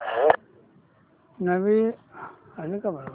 नवीन address add कर